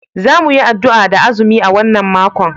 Za mu yi addu'a da azumi a wannan makon